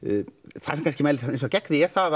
það sem kannski mælir þá gegn því er það